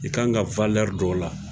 I ka kan ka don o la,